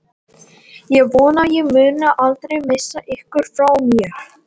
Ég vona að ég muni aldrei missa ykkur frá mér.